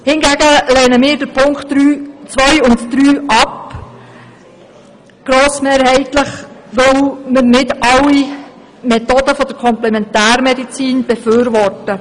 Hingegen lehnen wir die Punkte zwei und drei grossmehrheitlich ab, weil wir nicht alle Methoden der Komplementärmedizin befürworten.